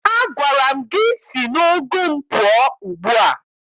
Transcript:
Agwara m gị si n'ugu m pụọ ugbu a!